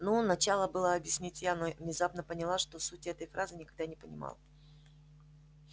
ну начала было объяснять я но внезапно поняла что сути этой фразы никогда не понимала